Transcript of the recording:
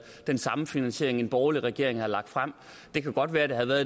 den samme finansiering en borgerlig regering havde lagt frem det kan godt være at det havde været